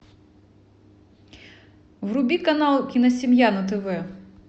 вруби канал киносемья на тв